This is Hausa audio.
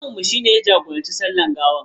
Limaminmu shi ne ya jagoranci sallar gawar.